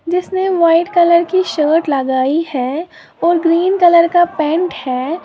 जिसने white colour की shirt लगाई है और ग्रीन कलर का पैंट है।